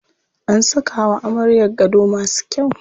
An saka wa amaryar gado masu kyau.